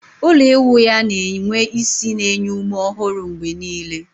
Ụlọ ịwụ ya na-enwe ísì na-enye ume ọhụrụ mgbe niile